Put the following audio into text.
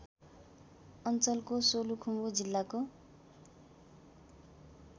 अञ्चलको सोलुखुम्बु जिल्लाको